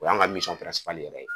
O y'an ka yɛrɛ ye.